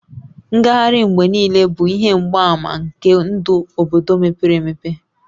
Ngagharị mgbe niile bụ ihe mgbaàmà nke ndụ obodo mepere emepe